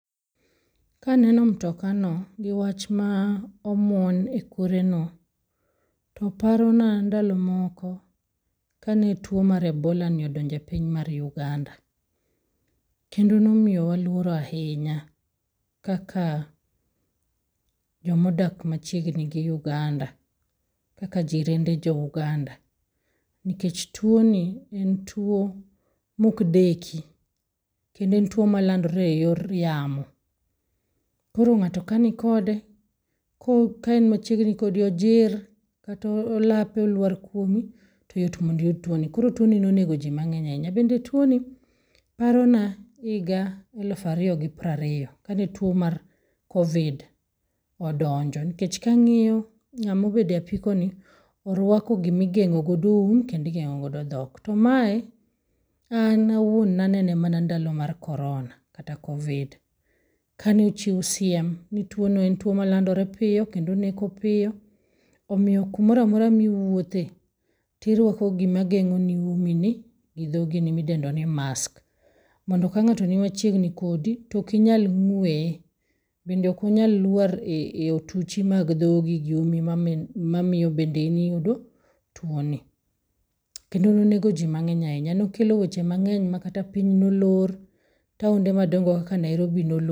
Kaneno mtoka no gi wach ma omuon e kore no to parona ndalo moko mane tuo mar Ebola odonjo e piny mar Uganda tone waluor ahinya kaka joma odak machiegni gi Uganda, kaka jirende jo Uganda, Nikech tuo ni en tuo ma ok deki kendo en tuo ma olandore e yor yamo. Koro ngato ka ni kode kaen machiegni kodi, ojir kata olape olwar kuom ni yot mondo iyud tuoni, koro tuoni nonego jii mangeny ahinya. Bende tuo ni parona higa 2020 kane tuo mar Covid odonjo nikech ka angiyo ngama obedo e apiko ni orwako gima igengo go um kendo igengo go dhok to mae an awuon nanene mana ndalo mag Corona kata covid kane ochiw siem ni tuono en tuo malandore piyo kendo oneko piyo omiyo kamoro amora miwuothe tirwako gima rwakoni umini gi dhogini midendo ni mask. Mondo ka ngato ni machiegni kodi to ok inyal ngweye bende ok onyal lwar e otuchi mag dhogi gi umi mamiyo bende in iyudo tuo ni. Kendo nonego jii mangeny ahinya, nokelo weche mangeny makata piny nolor, taonde madongo kaka Nairobi nolor